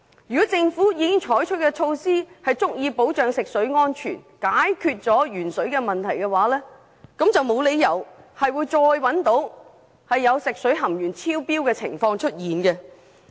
如果政府採取的措施能足以保障食水安全、解決鉛水問題，沒有理由會再次出現食水含鉛量超標的情況。